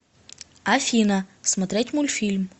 афина смотреть мульфильм